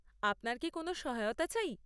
আপনার কি কোন সহায়তা চাই?